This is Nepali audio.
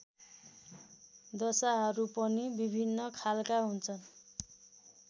दशाहरू पनि विभिन्न खालका हुन्छन्